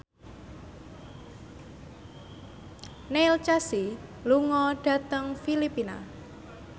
Neil Casey lunga dhateng Filipina